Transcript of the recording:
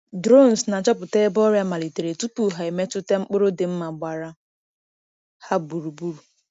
Drones na-achọpụta ebe ọrịa malitere tupu ha emetụta mkpụrụ dị mma gbara ha gburugburu.